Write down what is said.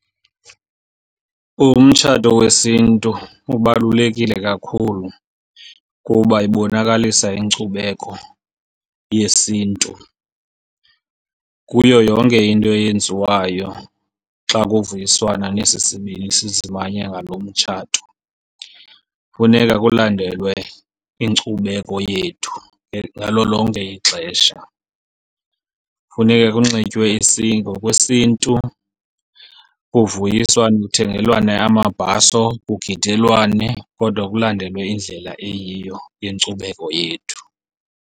Umtshato wesiNtu ubalulekile kakhulu kuba ibonakalisa inkcubeko yesiNtu. Kuyo yonke into eyenziwayo xa kuvuyiswana nesi sibini sizimanya ngalo mtshato, funeka kulandelwe inkcubeko yethu ngalo lonke ixesha. Funeka kunxitywe isiNtu ngokwesiNtu, kuvuyiswane kuthengelwane amabhaso, kugidelwane kodwa kulandelwe indlela eyiyo yenkcubeko yethu.